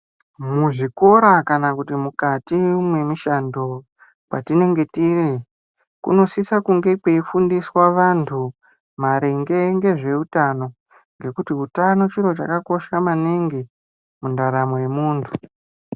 Muzvikora kana mukati memushando matinenge tiri kunosisa kunge kweifundiswa vandu maringe ngeutano ngekuri utano chiro chakakosha maningi mundaramo yemundu